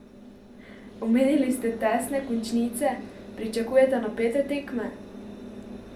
Omenili ste tesne končnice, pričakujete napete tekme?